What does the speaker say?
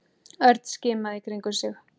Örn skimaði í kringum sig.